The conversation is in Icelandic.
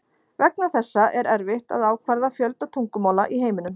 Vegna þessa er erfitt að ákvarða fjölda tungumála í heiminum.